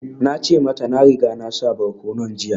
Na ce mata na riga na sa barkonon jiya